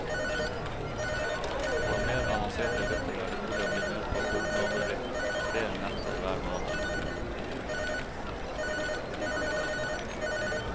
For mer avanserte ryttere er det mulig å bli med på fullmåneritt, tre netter hver måned.